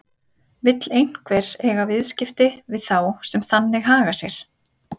Vill einhver eiga viðskipti við þá sem þannig haga sér?